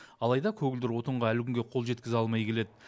алайда көгілдір отынға әлі күнге қол жеткізе алмай келеді